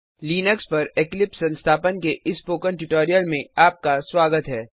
Linux पर Eclipse संस्थापन के इस स्पोकन ट्यूटोरियल में आपका स्वागत है